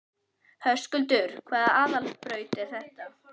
Höskuldur: Hvaða aðalbraut er það?